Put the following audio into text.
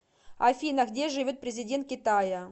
афина где живет президент китая